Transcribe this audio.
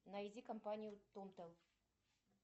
найди компанию тотал